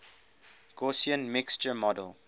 gaussian mixture model